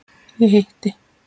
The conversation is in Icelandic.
Ég hitti